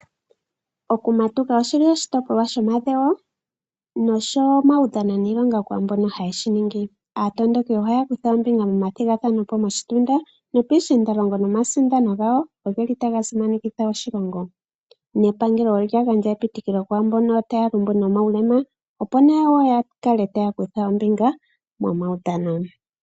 Okumatuka okuli oshitipolwa shomadhewo, noshowo omawudhano niilonga kwaamboka haye shiningi. Aatondoki ohaya kutha ombinga momathigathanepo moshitunda noopiishindalongo, nomasindano gawo ogeli taga simanekitha oshilongo, nepango olya gandja epitikilo kwaamboka taya lumbu nomawulema opo nayo yakale taya kutha ombinga momawudhano.